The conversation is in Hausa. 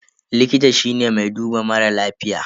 Likita shine mai duba mara lafiya.